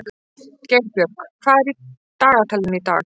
Geirbjörg, hvað er í dagatalinu í dag?